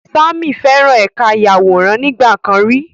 Sammy feran ẹka ayaworan nigbakan ri